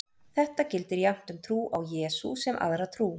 Þetta gildir jafnt um trú á Jesú sem aðra trú.